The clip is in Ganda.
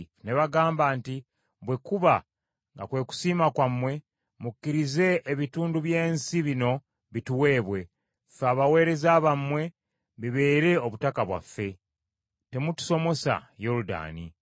Ne bagamba nti, “Bwe kuba nga kwe kusiima kwammwe, mukkirize ebitundu by’ensi bino bituweebwe, ffe abaweereza bammwe, bibeere obutaka bwaffe. Temutusomosa Yoludaani.”